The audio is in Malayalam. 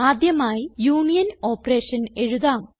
ആദ്യമായി യൂണിയൻ ഓപ്പറേഷൻ എഴുതാം